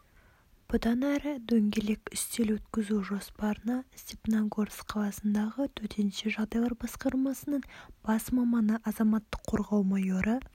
бұдан әрі дөңгелек үстел өткізу жоспарына степногорск қаласындағы төтенше жағдайлар басқармасының бас маманы азаматтық қорғау майоры